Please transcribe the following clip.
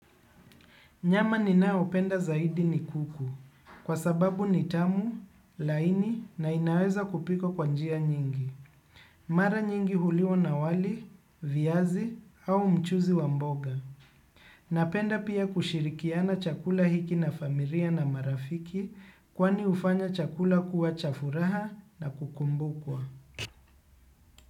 Nyama ninayopenda zaidi ni kuku, kwa sababu ni tamu, laini na inaweza kupikwa kwa njia nyingi. Mara nyingi huliwa na wali, viazi au mchuzi wa mboga. Napenda pia kushirikiana chakula hiki na familia na marafiki kwani hufanya chakula kuwa cha furaha na kukumbukwa.